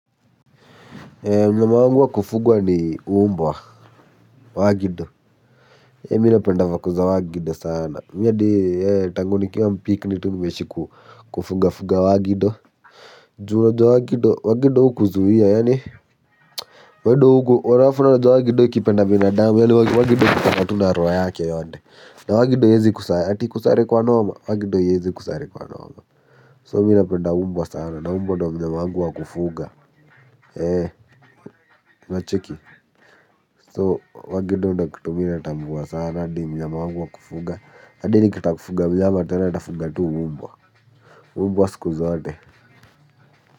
Mnyama wangu wa kufugwa ni mbwa wagido. Mimi napenda vako za wagido sana mimi hadi tangu nikiwa mpikini tu nimeishi kufugafuga wagido juu unajua wagido wagido hukuzuia yaani halafu unajua wagido ikipenda binadamu yaani wagido hukupenda tu na roho yake yote. Na wagido haiwezi kusare ati ikusare kwa noma, wagido haiwezi kusare kwa noma So mimi napenda mbwa sana na mbwa ndiyo mnyama wangu wa kufuga unacheki so wagido ndiyo kitu mimi natambua sana ndiyo mnyama wangu wa kufuga hadi nikitaka kufuga mnyama tena nitafuga tu mbwa mbwa siku zote.